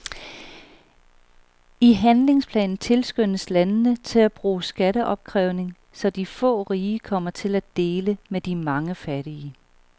I handlingsplanen tilskyndes landene til at bruge skatteopkrævning, så de få rige kommer til at dele med de mange fattige.